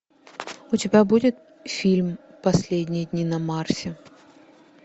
у тебя будет фильм последние дни на марсе